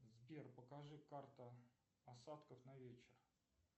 сбер покажи карта осадков на вечер